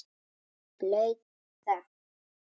Blaut þögn.